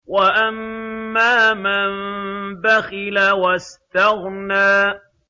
وَأَمَّا مَن بَخِلَ وَاسْتَغْنَىٰ